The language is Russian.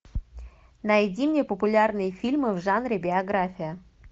найди мне популярные фильмы в жанре биография